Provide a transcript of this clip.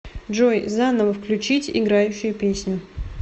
джой заново включить играющую песню